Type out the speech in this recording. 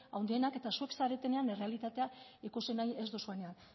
handienak eta zuek zaretenean errealitatea ikusi nahi ez duzuenak